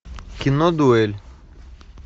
кино дуэль